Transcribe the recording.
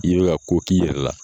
I be ka ko k'i yɛrɛ la.